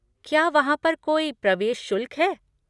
क्या वहाँ पर कोई प्रवेश शुल्क है?